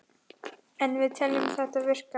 En við teljum þetta virka.